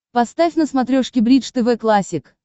поставь на смотрешке бридж тв классик